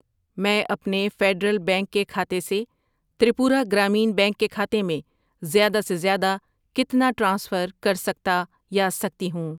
میں اپنے Federal Bank کےکھاتے سے تریپورہ گرامین بینک کے کھاتے میں زیادہ سے زیادہ کتنا ٹرانسفر کرسکتا یا سکتی ہوں؟